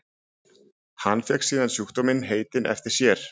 Hann fékk síðan sjúkdóminn heitinn eftir sér.